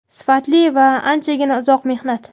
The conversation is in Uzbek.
sifatli va anchagina uzoq mehnat.